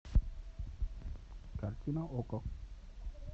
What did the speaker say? картина окко